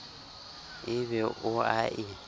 e be o a e